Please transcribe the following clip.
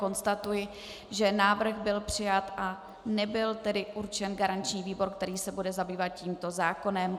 Konstatuji, že návrh byl přijat a nebyl tedy určen garanční výbor, který se bude zabývat tímto zákonem.